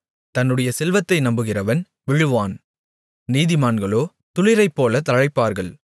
தன்னுடைய செல்வத்தை நம்புகிறவன் விழுவான் நீதிமான்களோ துளிரைப்போல தழைப்பார்கள்